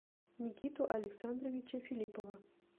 никиту александровича филиппова